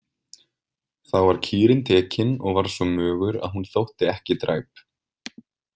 Þá var kýrin tekin og var svo mögur að hún þótti ekki dræp.